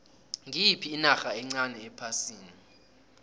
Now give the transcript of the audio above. ngiyiphi inarha encani ephasini